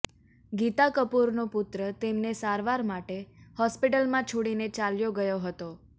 ગીતા કપૂરનો પુત્ર તેમને સારવાર માટે હોસ્પિટલમાં છોડીને ચાલ્યો ગયો હતો